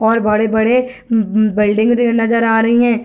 और बड़े बड़े बिल्डिंग नज़र आ रही हैं ।